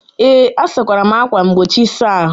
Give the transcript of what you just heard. Ee, asakwara m ákwà mgbochi ịsa ahụ.